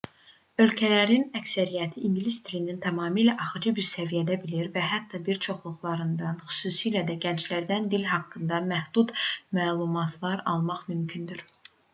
ölkələrin əksəriyyəti ingilis dilini tamamilə axıcı bir səviyyədə bilir və hətta bir çoxlarından xüsusilə də gənclərdən dil haqqında məhdud məlumatlar almaq mümkündür